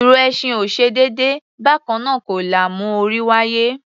Ìrù ẹṣin ò ṣe déédé; bákannáà kọ́ la mú orí wáyé.